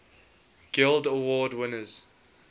guild award winners